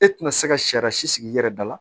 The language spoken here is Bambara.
E tɛna se ka sariya si sigi i yɛrɛ da la